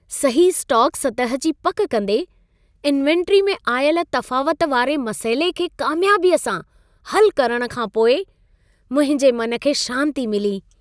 सही स्टॉक सतह जी पक कंदे, इन्वेंट्री में आयल तफ़ावत वारे मसइले खे कामियाबीअ सां हलु करण खां पोइ, मुंहिंजे मन खे शांति मिली।